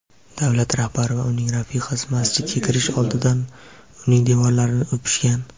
Davlat rahbari va uning rafiqasi masjidga kirish oldidan uning devorlarini o‘pishgan.